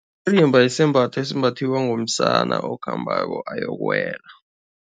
Isembatho esimbathiwa ngumsana okhambako ayokuwela.